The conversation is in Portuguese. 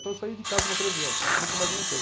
Então eu saí de casa com treze anos, nunca mais voltei.